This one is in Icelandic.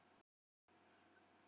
Ég var bara að byrja á túr.